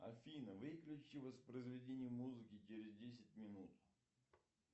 афина выключи воспроизведение музыки через десять минут